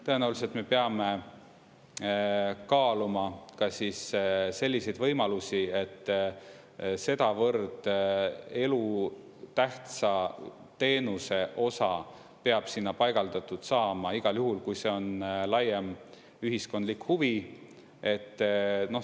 Tõenäoliselt me peame kaaluma ka selliseid võimalusi, et sedavõrd elutähtsa teenuse osa peab sinna paigaldatud saama igal juhul, kui see on laiem, ühiskondlik huvi.